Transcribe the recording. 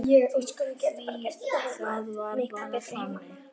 Því það var bara þannig.